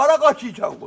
Hara qaçırsan?